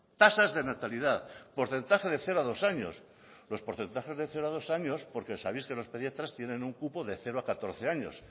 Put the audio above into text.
tasas de natalidad porcentaje de cero a dos años los porcentajes de cero a dos años porque sabéis que los pediatras tienen un cupo de cero a catorce años